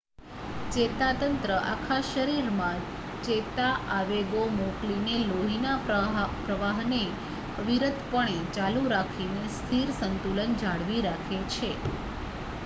ચેતાતંત્ર આખા શરીરમાં ચેતા આવેગો મોકલીને લોહીના પ્રવાહને અવિરતપણે ચાલું રાખીને સ્થિર સંતુલન જાળવી રાખે છે